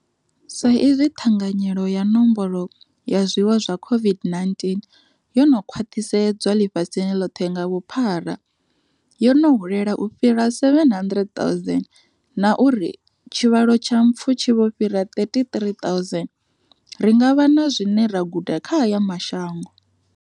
Sa izwi ṱhanganyelo ya nomboro ya zwiwo zwa COV-ID-19 yo no khwaṱhisedzwa ḽifhasini ḽoṱhe nga vhuphara, yo no hulela u fhira 700,000 na uri tshivhalo tsha mpfu tshi vho fhira 33,000, ri nga vha na zwine ra guda kha aya mashango.